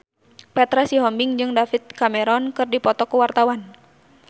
Petra Sihombing jeung David Cameron keur dipoto ku wartawan